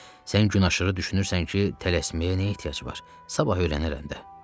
Sən gün aşırı düşünürsən ki, tələsməyə nə ehtiyac var, sabah öyrənirəm də.